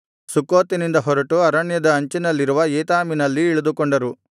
ಸುಕ್ಕೋತಿನಿಂದ ಹೊರಟು ಅರಣ್ಯದ ಅಂಚಿನಲ್ಲಿರುವ ಏತಾಮಿನಲ್ಲಿ ಇಳಿದುಕೊಂಡರು